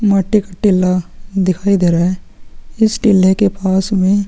माटी का टिल्ला दिखाई दे रहा है इस टिल्ले के पास में--